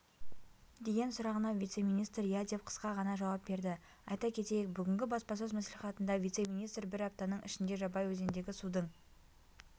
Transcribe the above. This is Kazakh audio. деген сұрағына вице-министр иә деп қысқа ғана жауап берді айта кетейік бүгінгі баспасөз мәслиіатында вице-министр бір аптаның ішінде жабай өзеніндегі судың